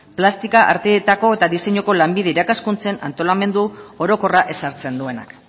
plastika arteetako eta diseinuko lanbide irakaskuntzen antolamendu orokorra ezartzen duenak